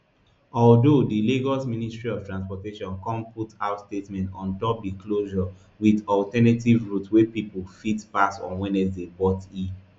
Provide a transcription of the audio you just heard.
although di lagos ministry of transportation come put out statement on top di closure wit alternative routes wey pipo fit pass on wednesday but e